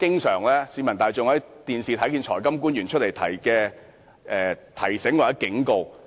市民大眾在電視上經常看到財金官員作出此類的提醒或警告。